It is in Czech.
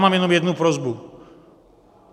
Mám jenom jednu prosbu.